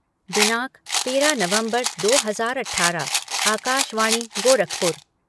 दिनांक तेरह नवम्बर दो हजार अठारह आकाशवाणी गोरखपुर